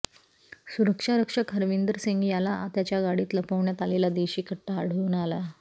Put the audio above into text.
सुरक्षा रक्षक हरविंदर सिंग याला त्याच्या गाडीत लपवण्यात आलेला देशी कट्टा आढळून आला